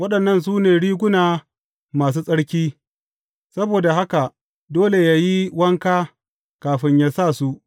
Waɗannan su ne riguna masu tsarki; saboda haka dole yă yi wanka kafin yă sa su.